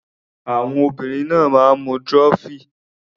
Àwọn obìnrin kan náà máa ń mu trophy.